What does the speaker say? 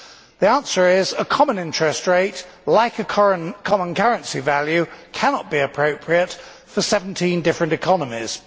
The answer is that a common interest rate, like a common currency value, cannot be appropriate for 17 different economies.